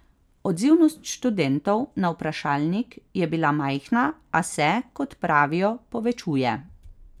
Odzivnost študentov na vprašalnik je bila majhna, a se, kot pravijo, povečuje.